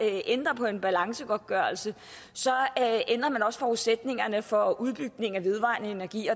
ændrer på en balancegodtgørelse ændrer man også forudsætningerne for udbygning af vedvarende energi